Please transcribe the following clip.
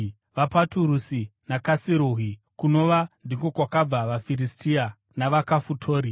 vaPaturusi, vaKasiruhi (kunova ndiko kwakabva vaFiristia) navaKafitori.